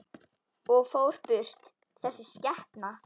Og fór burt, þessi skepna.